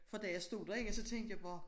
For da jeg stod derinde så tænkte jeg bare